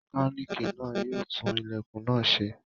Mọkálíìkì náà yóò tún ilẹ̀kùn náà ṣe.